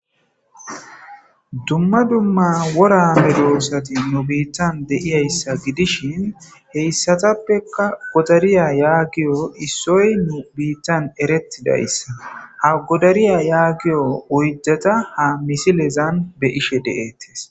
dumma dumma wora medoosati nu biittan de'iyayssa gidishin heyissatappeka godariya yaagiyo issoy nu biittan erettidayssa ha godariya yaagiyo oyddata ha misilezan be'ishshe detees